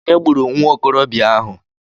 Ònye gburu nwa okorobịa ahụ?